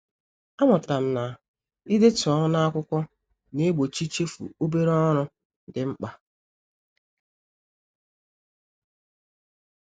A mụtara m na-idetu ọrụ n'akwụkwọ na-egbochi ichefu obere ọrụ dị mkpa